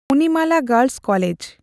Monimala girls college.